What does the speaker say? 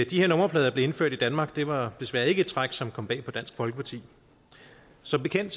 de her nummerplader blev indført i danmark var desværre ikke et træk som kom bag på dansk folkeparti som bekendt